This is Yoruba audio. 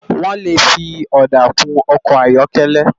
Wòn lé fi òdá kún òkò áyòkèlè